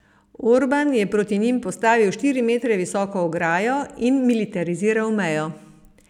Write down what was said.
Orban je proti njim postavil štiri metre visoko ograjo in militariziral mejo.